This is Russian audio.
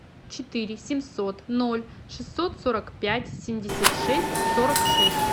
четыре семьсот ноль шестьсот сорок пять семьдесят шесть сорок шесть